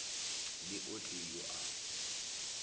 le o tee yoo a